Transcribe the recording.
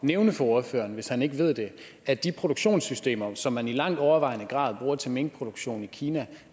nævne for ordføreren hvis han ikke ved det at de produktionssystemer som man i langt overvejende grad bruger til minkproduktion i kina